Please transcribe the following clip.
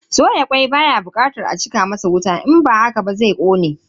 Soya kwai baya bukatar a cika masa wuta in ba haka ba zai kone.